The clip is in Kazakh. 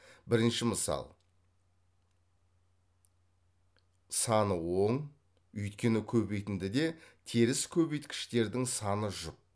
бірінші мысал саны оң өйткені көбейтіндіде теріс көбейткіштердің саны жұп